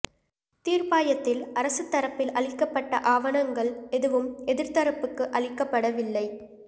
தீர்ப்பாயத்தில் அரசு தரப்பில் அளிக்கப்பட்ட ஆவணங்கள் எதுவும் எதிர்த்தரப்புக்கு அளிக்கப்படவில்லை